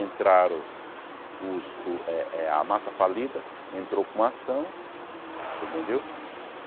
entraram os o eh eh a massa falida, entrou com uma ação, você entendeu?